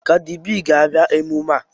Kadi B ga-abịa emume a